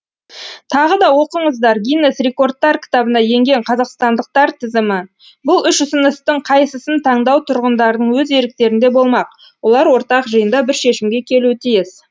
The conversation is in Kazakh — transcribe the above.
тағы да оқыңыздар гиннес рекордтар кітабына енген қазақстандықтар тізімі бұл үш ұсыныстың қайсысын таңдау тұрғындардың өз еріктерінде болмақ олар ортақ жиында бір шешімге келуі тиіс